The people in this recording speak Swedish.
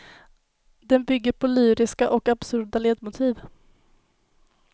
Den bygger på lyriska och absurda ledmotiv.